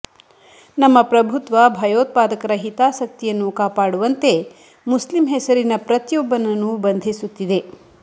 ನಮ್ಮ ಪ್ರಭುತ್ವ ಭಯೋತ್ಪಾದಕರ ಹಿತಾಸಕ್ತಿಯನ್ನು ಕಾಪಾಡುವಂತೆ ಮುಸ್ಲಿಂ ಹೆಸರಿನ ಪ್ರತಿಯೊಬ್ಬನನ್ನೂ ಬಂಧಿಸುತ್ತಿದೆ